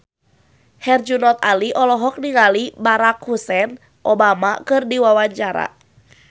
Herjunot Ali olohok ningali Barack Hussein Obama keur diwawancara